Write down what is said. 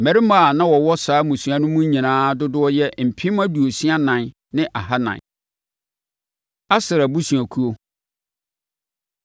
Mmarima a na wɔwɔ saa mmusua no mu nyinaa dodoɔ yɛ mpem aduosia ɛnan ne ahanan (64,400). Aser Abusuakuo